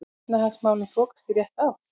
Efnahagsmálin þokast í rétta átt